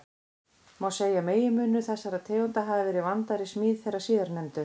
Má segja að meginmunur þessara tegunda hafi verið vandaðri smíð þeirra síðarnefndu.